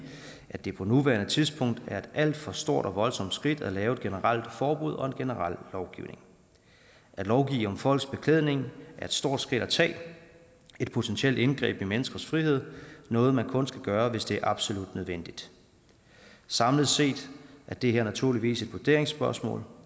at det på nuværende tidspunkt er et alt for stort og voldsomt skridt at lave et generelt forbud og en generel lovgivning at lovgive om folks beklædning er et stort skridt at tage et potentielt indgreb i menneskers frihed noget man kun skal gøre hvis det er absolut nødvendigt samlet set er det her naturligvis et vurderingsspørgsmål